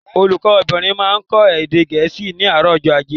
Olùkó bìnrin máa n kó èdè Gẹ̀ẹ́sì ní àárò ọjó ajé